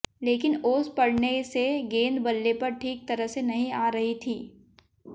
लेकिन ओस पडऩे से गेंद बल्ले पर ठीक तरह से नहीं आ रही थी